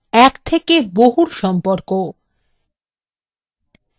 অতএব এটি একটি এক থেকে বহুর সম্পর্ক